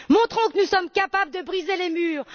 Montrons que nous sommes capables de briser les murs!